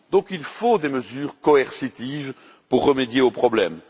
Il faut donc des mesures coercitives pour remédier au problème.